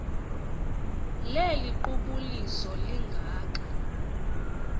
leli qubuliso lingaka